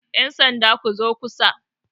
yansanda ku zo kusa!